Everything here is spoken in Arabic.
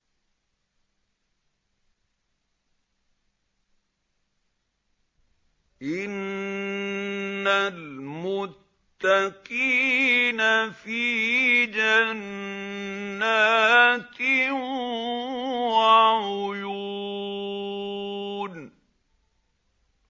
إِنَّ الْمُتَّقِينَ فِي جَنَّاتٍ وَعُيُونٍ